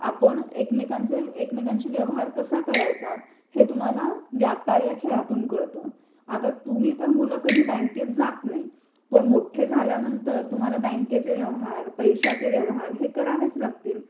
आपण एकमेकांशी व्यवहार कसा करायचा हे तुम्हाला व्यापार या खेळातून कळत आता तुम्ही मुल बँकेत जात नाही. मोठे झाल्यानंतर तुम्हाला बँकेचे व्यवहार पैश्याचे व्यवहार हे करावेच लागतील.